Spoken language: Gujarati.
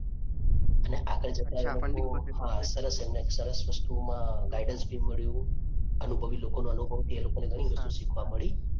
અને આગળ જતાં હા સરસ એમને સરસ વસ્તુમાં guidance બી મળ્યું. અનુભવી લોકોનો અનુભવથી એ લોકોને ઘણી વસ્તુ શીખવા મળી.